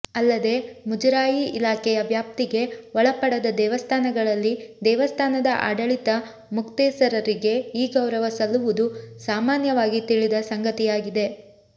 ಅಲ್ಲದೆ ಮುಜರಾಯಿ ಇಲಾಖೆಯ ವ್ಯಾಪ್ತಿಗೆ ಒಳಪಡದ ದೇವಸ್ಥಾನಗಳಲ್ಲಿ ದೇವಸ್ಥಾನದ ಆಡಳಿತ ಮುಕ್ತೇಸರರಿಗೆ ಈ ಗೌರವ ಸಲ್ಲುವುದು ಸಾಮಾನ್ಯವಾಗಿ ತಿಳಿದ ಸಂಗತಿಯಾಗಿದೆ